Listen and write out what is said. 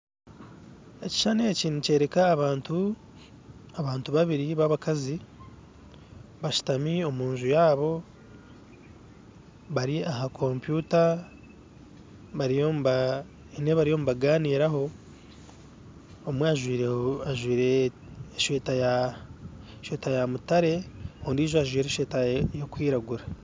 Ekishushani eki nikyoreka abakazi babiri bashutami omu nju yaabo bari aha kompyuta haine ebi bariyo nibaganiiraho, omwe ajwire esweta ya mutare ondiijo ajwire esweta erikwiragura